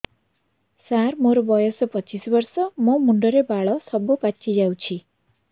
ସାର ମୋର ବୟସ ପଚିଶି ବର୍ଷ ମୋ ମୁଣ୍ଡରେ ବାଳ ସବୁ ପାଚି ଯାଉଛି